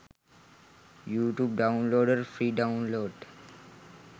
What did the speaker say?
youtube downloader free download